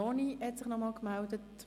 Vanoni hat sich noch einmal gemeldet.